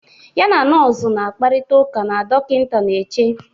ya na nọọsụ na-akparịta ụka na dọkịta na-eche